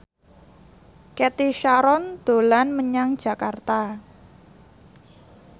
Cathy Sharon dolan menyang Jakarta